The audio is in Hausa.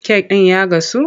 Kek ɗin ya gasu,